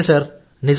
నిజమే సార్